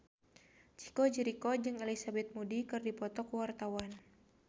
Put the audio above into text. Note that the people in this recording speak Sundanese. Chico Jericho jeung Elizabeth Moody keur dipoto ku wartawan